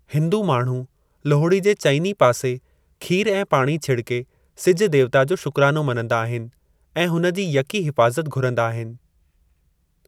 हिंदू माण्‍हू लोहरी जे चइनी पासे खीर ऐं पाणी छिड़के सिज देवता जो शुक्राणो मनंदा आहिनि ऐं हुन जी यकी हिफाज़त घुरंदा आहिनि।